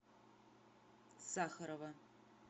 сахарова